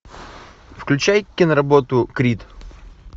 включай киноработу крид